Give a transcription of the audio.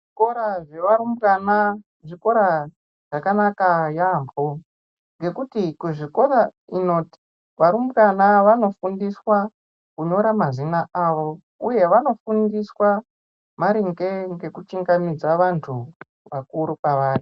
Zvikora zvevarumbwana, zvikora zvakanaka yaampho ngekuti kuzvikora ino varumbwana vanofundiswa kunyora mazina avo, uye vanofundiswa maringe ngekuchingamidza vantu vakuru kwavari.